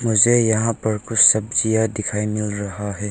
मुझे यहां पर कुछ सब्जियां दिखाई मिल रहा है।